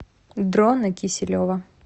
дрона киселева